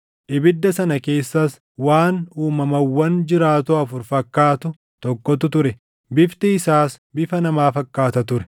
ibidda sana keessas waan uumamawwan jiraatoo afur fakkaatu tokkotu ture. Bifti isaas bifa namaa fakkaata ture;